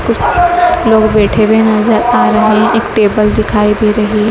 कुछ लोग बैठे हुए नजर आ रहे हैं एक टेबल दिखाई दे रही है।